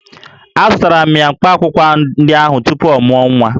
Azụtara m ya mkpaakwụkwọ ndị ahụ tupu ọ mụọ nwa